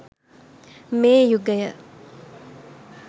මේ යුගය